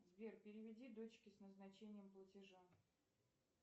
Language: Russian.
сбер переведи дочке с назначением платежа